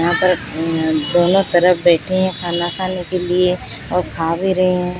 यहां पर दोनों तरफ बैठे है खाना खाने के लिए और खा भी रहे हैं।